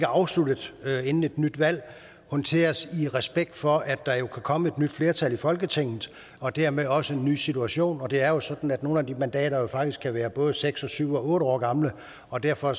afsluttet inden et nyt valg håndteres i respekt for at der jo kan komme et nyt flertal i folketinget og dermed også en ny situation og det er jo sådan at nogle af de mandater faktisk kan være både seks syv og otte år gamle og derfor